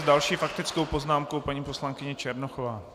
S další faktickou poznámkou paní poslankyně Černochová.